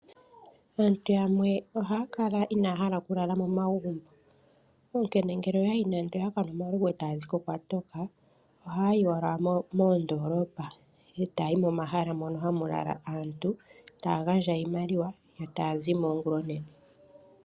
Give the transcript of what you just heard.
Aantu yamwe ohaa kala inaaya hala okulala momagumbu. Ngele oya kanwa omalovu gawo eta ya ziko kwa toka, ohaa yi owala moondoolopa eta ya yi momahala mono hamu lala aantu taa gandja iimaliwa yo taya zimo ongulonene.